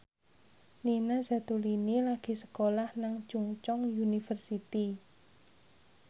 Nina Zatulini lagi sekolah nang Chungceong University